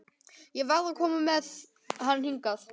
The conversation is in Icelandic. Ég varð að koma með hann hingað.